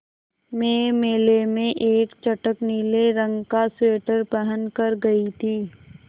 मैं मेले में एक चटख नीले रंग का स्वेटर पहन कर गयी थी